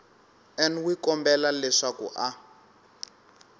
n wi kombela leswaku a